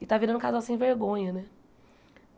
E está virando um casal sem vergonha, né?